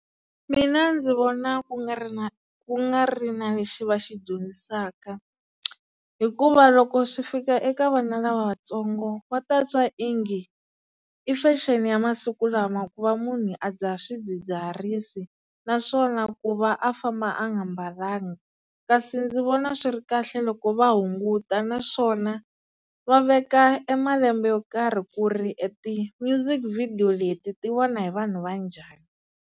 Mina ndzi vona ku nga ri na ku nga ri na lexi va xi dyondzisaka, hikuva loko swi fika eka vana lavatsongo va ta twa ingi i fexeni ya masiku lama ku va munhu a dzaha swidzidziharisi, naswona ku va a famba a nga mbalangi, kasi ndzi vona swi ri kahle loko va hunguta naswona va veka e malembe yo karhi ku ri e ti-music video leti ti vona hi vanhu va njhani.